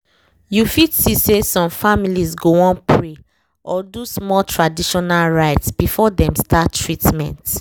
you fit see say some families go wan pray or do small traditional rites before dem start treatment